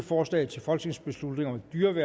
forslaget til folketingsbeslutning er